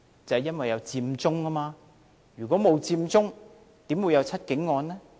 就是因為有佔中，如果沒有佔中，怎會有"七警案"呢？